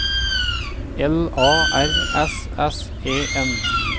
L A R S S E N